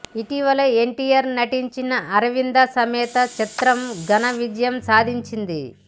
ఇటీవల ఎన్టీఆర్ నటించిన అరవింద సమేత చిత్రం ఘనవిజయం సాధించింది